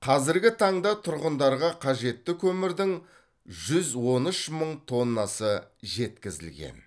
қазіргі таңда тұрғындарға қажетті көмірдің жүз он үш мың тоннасы жеткізілген